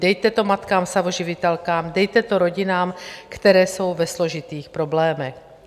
Dejte to matkám samoživitelkám, dejte to rodinám, které jsou ve složitých problémech.